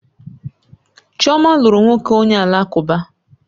Chioma lụrụ nwoke onye Alakụba